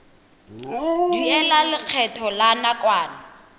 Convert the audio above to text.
duela lekgetho la nakwana